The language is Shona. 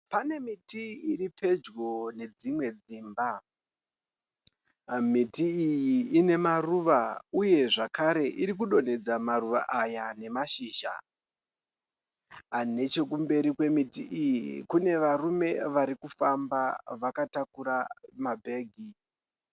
Pane miti iri pedyo nedzimwe dzimba. Miti iyi ine maruva uye zvakare iri kudonhedza maruva aya nemashizha. Neche kumberi kwemiti iyi kune varume varikufamba vakataura mabhegi.